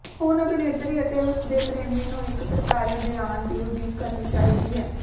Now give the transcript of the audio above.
ਹੁਣ ਅਭਿਨੇਤਰੀ ਅਤੇ ਉਸ ਦੇ ਪ੍ਰੇਮੀ ਨੂੰ ਇਕ ਸਰਕਾਰੀ ਬਿਆਨ ਦੀ ਉਡੀਕ ਕਰਨੀ ਚਾਹੀਦੀ ਹੈ